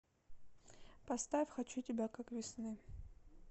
поставь хочу тебя как весны